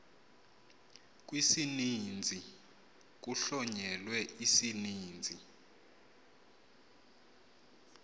kwisininzi kuhlonyelwe isininzisi